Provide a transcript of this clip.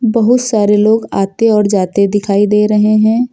बहुत सारे लोग आते और जाते दिखाई दे रहे हैं।